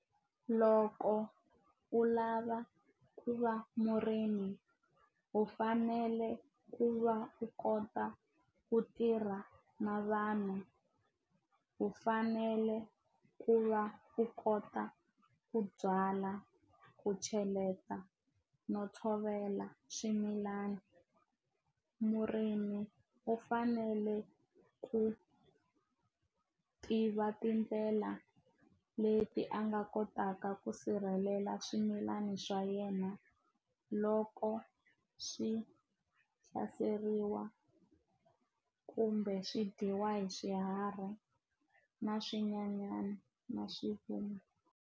Loko u lava ku va murimi u fanele ku va u kota ku tirha na vanhu u fanele ku va u kota ku byala ku cheleta no tshovela swimilana murimi u fanele ku tiva tindlela leti a nga kotaka ku sirhelela swimilana swa yena loko swi hlaseriwa kumbe swi dyiwa hi swiharhi na swinyenyani na swifuwo.